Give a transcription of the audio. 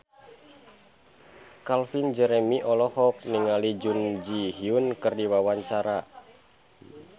Calvin Jeremy olohok ningali Jun Ji Hyun keur diwawancara